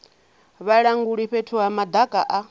vhalanguli fhethu ha madaka a